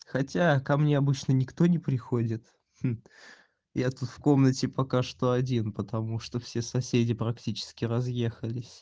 хотя ко мне обычно никто не приходит я тут в комнате пока что один потому что все соседи практически разъехались